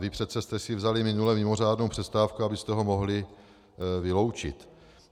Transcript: Vy přece jste si vzali minule mimořádnou přestávku, abyste ho mohli vyloučit.